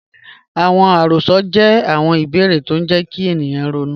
Awọn àròs̩ọ jẹ̀ awọn ìbèèrè̀ tó ń jẹ̀ kí ènìyàn rọ̀nú.